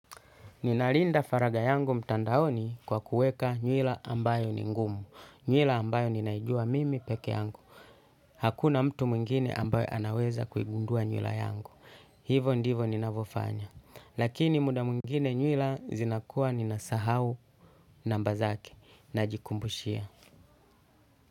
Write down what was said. Ninalinda faragha yangu mtandaoni kwa kuweka nywila ambayo ni ngumu. Nywila ambayo ninaijua mimi peke yangu. Hakuna mtu mwingine ambaye anaweza kuigundua nywila yangu. Hivyo ndivyo ninavyofanya. Lakini muda mwingine nywila zinakuwa ninasahau namba zake najikumbushia.